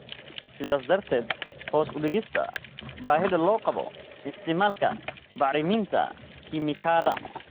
sidaas darteed hoos u dhigista baahida loo qabo isticmaalka bacriminta kiimikada.